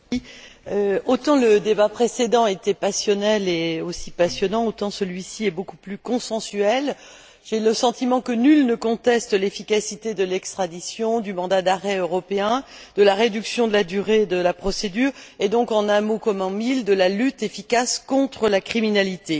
Monsieur le Président, autant le débat précédent était passionnel et également passionnant, autant celui ci est beaucoup plus consensuel. J'ai le sentiment que nul ne conteste l'efficacité de l'extradition, du mandat d'arrêt européen, de la réduction de la durée de la procédure et donc, en un mot comme en mille, de la lutte contre la criminalité.